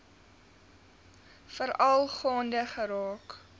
veral gaande geraak